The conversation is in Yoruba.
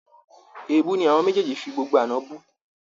Èébú ni àwọn méjèèjì fi gbogbo àná bú